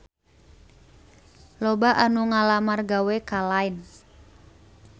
Loba anu ngalamar gawe ka Line